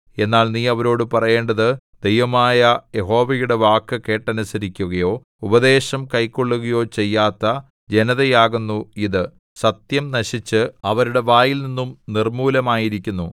എന്നാൽ നീ അവരോടു പറയേണ്ടത് ദൈവമായ യഹോവയുടെ വാക്കു കേട്ടനുസരിക്കുകയോ ഉപദേശം കൈക്കൊള്ളുകയോ ചെയ്യാത്ത ജനതയാകുന്നു ഇത് സത്യം നശിച്ച് അവരുടെ വായിൽനിന്നും നിർമ്മൂലമായിരിക്കുന്നു